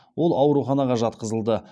ол ауруханаға жатқызылды